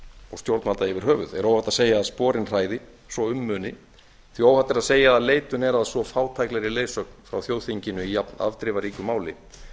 og stjórnvalda yfir höfuð er óhætt að segja að sporin hræði svo um muni því óhætt er að segja að leitun er að svo fátæklegri leiðsögn frá þjóðþinginu í jafn afdrifaríku máli